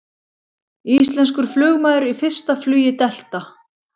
Íslenskur flugmaður í fyrsta flugi Delta